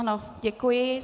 Ano, děkuji.